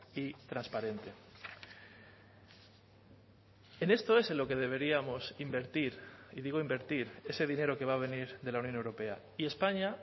y transparente en esto es en lo que deberíamos invertir y digo invertir ese dinero que va a venir de la unión europea y españa